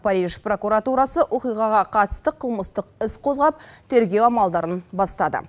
париж прокуратурасы оқиғаға қатысты қылмыстық іс қозғап тергеу амалдарын бастады